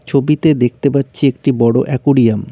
ছবিতে দেখতে পাচ্ছি একটি বড়ো অ্যাকুরিয়াম ।